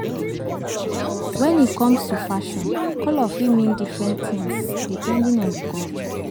When e comes to fashion, colour fit mean different things depending on di culture